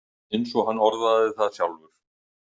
Eins og hann orðaði það sjálfur